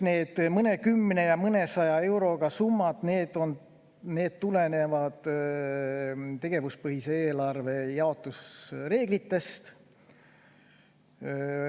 Need mõnekümne- ja mõnesajaeurosed summad tulenevad tegevuspõhise eelarve jaotusreeglitest.